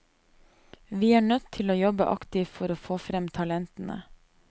Vi er nødt til å jobbe aktivt for å få frem talentene.